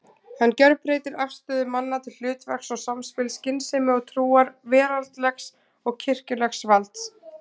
Hann gjörbreytir afstöðu manna til hlutverks og samspils skynsemi og trúar, veraldlegs og kirkjulegs valds.